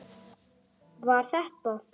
Var þetta?